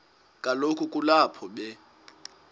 kaloku kulapho be